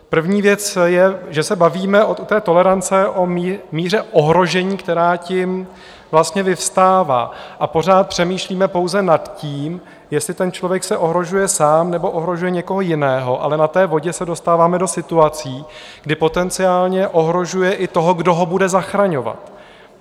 První věc je, že se bavíme u té tolerance o míře ohrožení, která tím vlastně vyvstává, a pořád přemýšlíme pouze nad tím, jestli ten člověk se ohrožuje sám, nebo ohrožuje někoho jiného, ale na té vodě se dostáváme do situací, kdy potenciálně ohrožuje i toho, kdo ho bude zachraňovat.